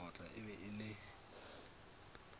sekgotla e be e le